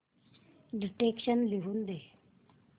dictation लिहून घे